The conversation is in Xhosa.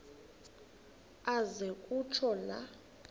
aze kutsho la